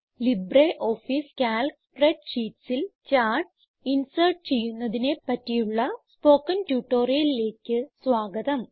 LibreOffice Calc spreadsheetsൽ charts insert ചെയ്യുന്നതിനെ പറ്റിയുള്ള സ്പോകെൺ ട്യൂട്ടോറിയലിലേക്ക് സ്വാഗതം